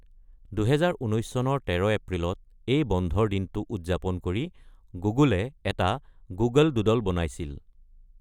২০১৯ চনৰ ১৩ এপ্ৰিলত এই বন্ধৰ দিনটো উদযাপন কৰি গুগলে এটা গুগল ডুড্ল বনাইছিল।